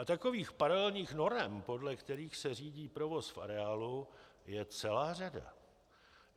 A takových paralelních norem, podle kterých se řídí provoz v areálu, je celá řada.